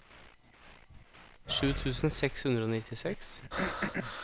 sju tusen seks hundre og nittiseks